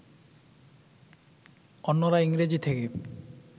অন্যরা ইংরেজি থেকে